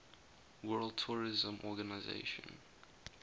world tourism organization